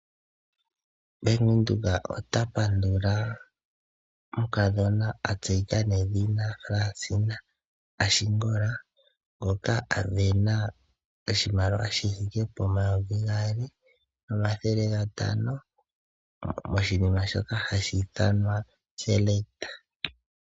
Bank Windhoek ota pandula omukadhona atseyika nawa Fransina Ashingola ngoka asindana oshimaliwa shithike poN$2500 , moshinima shoka hashi ithanwa Selekt Red.